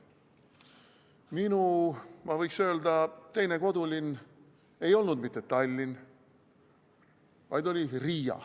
Minu, ma võiks öelda, teine kodulinn ei olnud mitte Tallinn, vaid oli Riia.